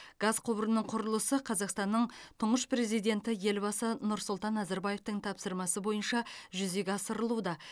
газ құбырының құрылысы қазақстанның тұңғыш президенті елбасы нұрсұлтан назарбаевтың тапсырмасы бойынша жүзеге асырылуда